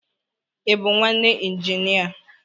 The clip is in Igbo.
I bụ nwanne injinia?